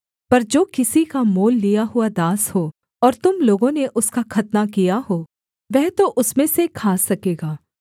पर जो किसी का मोल लिया हुआ दास हो और तुम लोगों ने उसका खतना किया हो वह तो उसमें से खा सकेगा